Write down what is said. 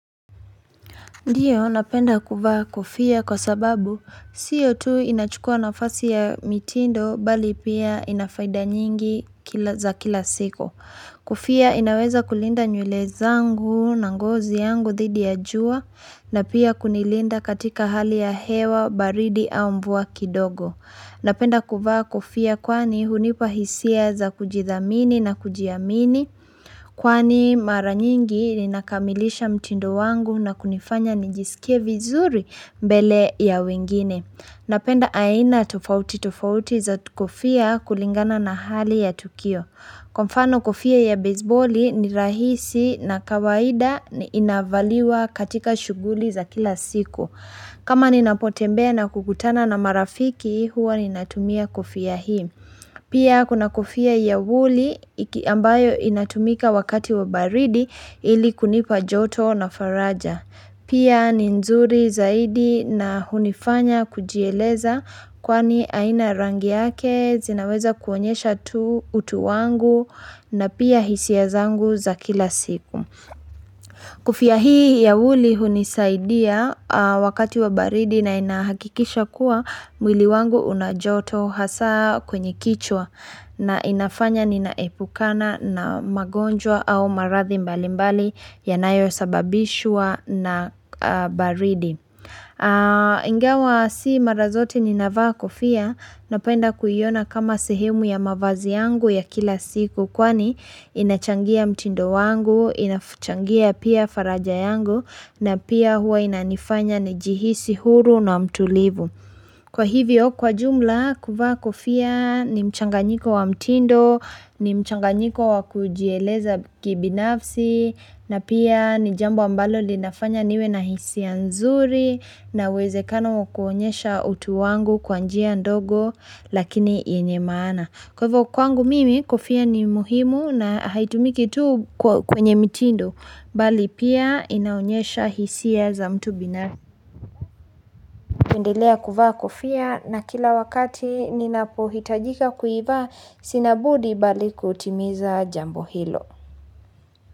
Ndiyo, napenda kuvaa kofia kwa sababu sio tu inachukua nafasi ya mitindo bali pia ina faida nyingi kila za kila siku. Kofia inaweza kulinda nywele zangu na ngozi yangu dhidi ya jua na pia kunilinda katika hali ya hewa, baridi au mvua kidogo. Napenda kuvaa kofia kwani hunipa hisia za kujithamini na kujiamini kwani mara nyingi ninakamilisha mtindo wangu na kunifanya nijisikie vizuri mbele ya wengine. Napenda aina tofauti tofauti za kofia kulingana na hali ya tukio. Kwa mfano kofia ya beziboli ni rahisi na kawaida ni inavaliwa katika shuguli za kila siku. Kama ninapotembea na kukutana na marafiki huwa ninatumia kofia hii. Pia kuna kofia ya wuli ambayo inatumika wakati wa baridi ili kunipa joto na faraja. Pia ni nzuri zaidi na hunifanya kujieleza kwani aina rangi yake zinaweza kuonyesha tu utu wangu na pia hisia zangu za kila siku. Kofia hii ya wuli hunisaidia wakati wa baridi na inahakikisha kuwa mwili wangu una joto hasa kwenye kichwa na inafanya ninaepukana na magonjwa au maradhi mbali mbali yanayosababishwa na baridi. Ingawa si mara zote ni navaa kofia napenda kuiona kama sehemu ya mavazi yangu ya kila siku kwani inachangia mtindo wangu inachangia pia faraja yangu na pia huwa inanifanya nijihisi huru na mtulivu Kwa hivyo, kwa jumla, kuvaa kofia ni mchanganyiko wa mtindo, ni mchanganyiko wa kujieleza kibinafsi, na pia ni jambo ambalo linafanya niwe na hisia ya nzuri, na uwezekano wa kuonyesha utu wangu kwa njia ndogo, lakini yenye maana. Kwa hivyo, kwangu mimi, kofia ni muhimu na haitumiki tu kwa kwenye mtindo, bali pia inaonyesha hisia za mtu bina. Ninaendelea kuvaa kofia na kila wakati ninapohitajika kuivaa sina budi bali kutimiza jambo hilo.